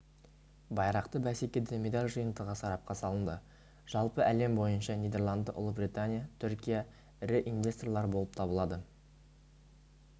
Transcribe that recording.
байрақты бәсекеде медаль жиынтығы сарапқа салынды жалпы әлем бойынша нидерланды ұлыбритания түркия ірі инвесторлар болып табылады